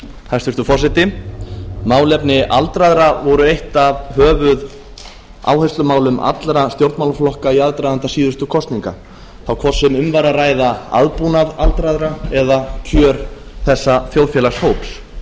hæstvirtur forseti málefni aldraðra voru eitt af höfuðáherslumálum allra stjórnmálaflokka í aðdraganda síðustu kosninga þá hvort sem um var að ræða aðbúnað aldraðra eða kjör þessa þjóðfélagshóps